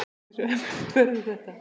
Hversu öflugt verður þetta?